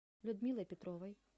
людмилой петровой